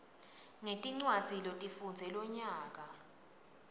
ngetincwadzi lotifundze lonyaka